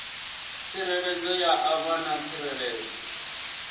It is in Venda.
tsireledzo ya ṋama na tsireledzo